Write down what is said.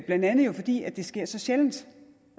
blandt andet fordi det sker så sjældent